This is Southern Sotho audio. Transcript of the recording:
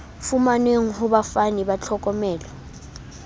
fumanweng ho bafani ba tlhokomelo